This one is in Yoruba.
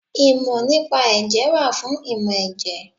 Ìmọ̀ nípa Ẹ̀jẹ̀ wà fún ìmọ̀ ẹ̀jẹ̀.